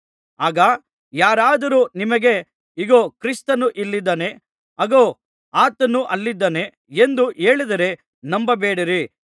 ಆಗ ಯಾರಾದರೂ ನಿಮಗೆ ಇಗೋ ಕ್ರಿಸ್ತನು ಇಲ್ಲಿದ್ದಾನೆ ಅಗೋ ಆತನು ಅಲ್ಲಿದ್ದಾನೆ ಎಂದು ಹೇಳಿದರೆ ನಂಬಬೇಡಿರಿ